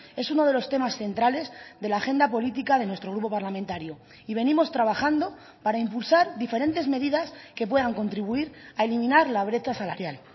es uno de los temas centrales de la agenda política de nuestro grupo parlamentario y venimos trabajando para impulsar diferentes medidas que puedan contribuir a eliminar la brecha salarial